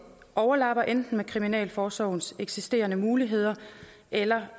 overlapper enten med kriminalforsorgens eksisterende muligheder eller